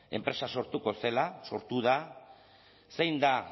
enpresa sortuko zela sortu da zein da